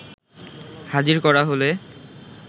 হাজির করা হলে